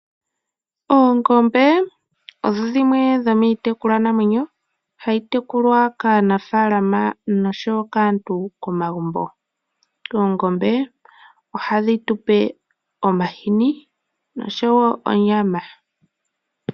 Oongombe odho dhimwe dhomiitekulwa namwenyo hayi tekulwa kaanafaalama noshowo kaantu komagumbo. Oongombe ohadhi tupe omahini noshowo onyama.